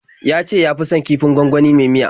Ya ce ya fi son kifin gwangwani mai miya.